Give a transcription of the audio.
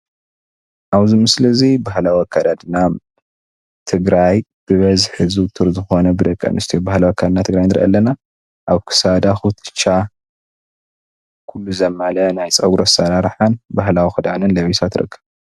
ኣብዚ ምስሊ እዚ ባህላዊ ኣካዳድናን ትግራይ ብበዝሒ ዝውቱር ዝኾነ ብ ደቂ ኣንስትዮ ባህላዊ ኣካዳድና ትግራይ ንሪኢ ኣለና። ኣብ ክሳዳ ኩትሻ ዘማልአ ናይ ፀጉሪ ኣሰራርሓን፣ ባህላዊ ክዳንን ለቢሳ ትርከብ።